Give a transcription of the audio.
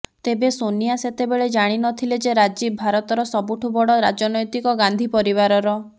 ତେବେ ସୋନିଆ ସେତେବେଳେ ଜାଣି ନଥିଲେ ଯେ ରାଜୀବ ଭାରତର ସବୁଠୁ ବଡ ରାଜନୈତିକ ଗାନ୍ଧୀ ପରିବାରର